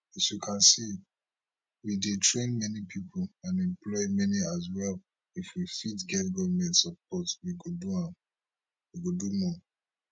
as you can see we dey train many pipo and employ many as well if we fit get goment support we go do more